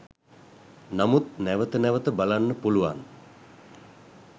නමුත් නැවත නැවත බලන්න පුළුවන්